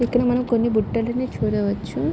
ఇక్కడ మనం కొన్ని బుట్టలను చూడవచ్చు.